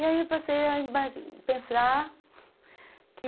E aí eu passei a pensar que...